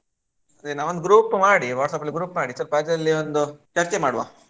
ನಾವು ಒಂದು group ಮಾಡಿ WhatsApp ಅಲ್ಲಿ group ಮಾಡಿ ಅದ್ರಲ್ಲಿ ಚರ್ಚೆ ಮಾಡ್ವ?